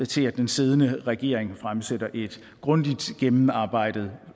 til at den siddende regering fremsætter et grundigt gennemarbejdet